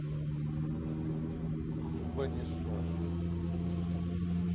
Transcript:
бхубанешвар